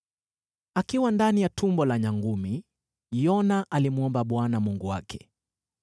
Akiwa ndani ya tumbo la nyangumi, Yona alimwomba Bwana Mungu wake.